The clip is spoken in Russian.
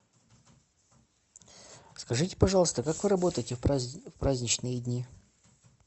скажите пожалуйста как вы работаете в праздничные дни